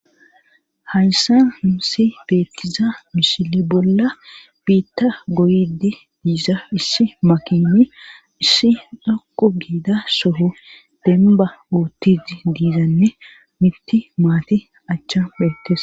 hayssa himsi beettiza mishile bolla biitta goydi diiza issi makinissidhoqu giidaa soho demba uottizi diizanne mitti maati achcha beettes